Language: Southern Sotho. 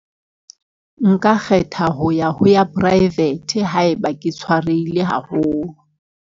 Nka kgetha ho ya ho ya private. Haeba ke tshwarehile haholo.